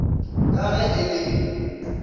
ka ge e le yo